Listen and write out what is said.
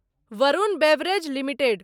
Varun beverage limited